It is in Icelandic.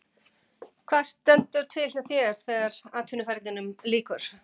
Hvað stendur til hjá þér þegar atvinnumannaferlinum lýkur?